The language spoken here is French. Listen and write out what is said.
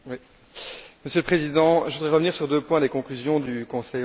Monsieur le Président, je voudrais revenir sur deux points des conclusions du Conseil européen.